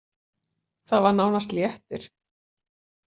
Það var nánast léttir.